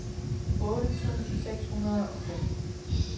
otte tusind seks hundrede og fem